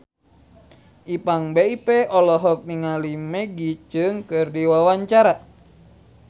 Ipank BIP olohok ningali Maggie Cheung keur diwawancara